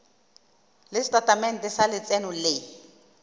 le setatamente sa letseno le